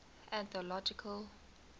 anthological